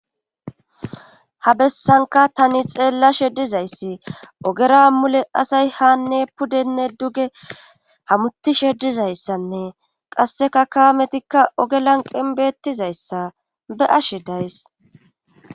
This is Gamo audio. Ha bessanka tani xeella shedizayssi ogera mule asay haanne pudenne duge hamuti shedizayssanne qasseka kaametikka oge lanqen beettizayssa be ashe days.